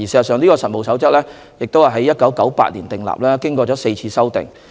事實上，《實務守則》在1998年訂立，經過4次修訂。